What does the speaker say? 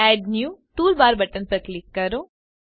add new toolbar button પર click કરો